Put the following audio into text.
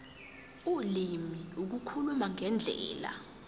ulimi ukukhuluma ngendlela